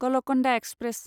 Golconda express